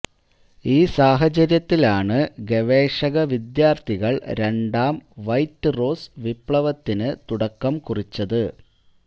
ഈ സാഹചര്യത്തിലാണ് ഗവേഷക വിദ്യാര്ത്ഥികള് രണ്ടാം വൈറ്റ് റോസ് വിപ്ലവത്തിന് തുടക്കം കുറിച്ചത്